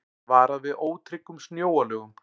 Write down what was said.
Varað við ótryggum snjóalögum